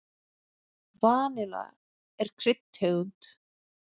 Vanilla er kryddtegund.